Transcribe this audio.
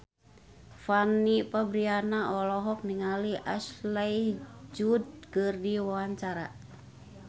Fanny Fabriana olohok ningali Ashley Judd keur diwawancara